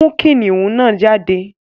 Mú kìnnìún náà jáde!